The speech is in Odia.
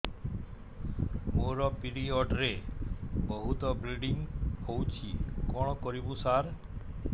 ମୋର ପିରିଅଡ଼ ରେ ବହୁତ ବ୍ଲିଡ଼ିଙ୍ଗ ହଉଚି କଣ କରିବୁ ସାର